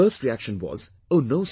Their first reaction was, "Oh no